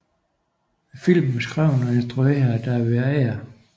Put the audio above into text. Filmen er skrevet og instrueret af David Ayer